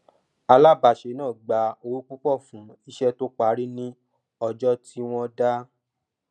alábáṣe náà gba owó púpọ fún iṣẹ tó parí ní ọjọ tí wọn dá